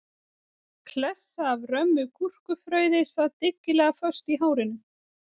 Klessa af römmu gúrkufrauði sat dyggilega föst í hárinu